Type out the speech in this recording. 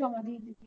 জমা দিয়ে দিবি